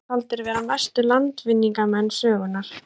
Þeir eru taldir vera mestu landvinningamenn sögunnar.